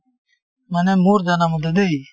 মানে মোৰ জানামতে দেই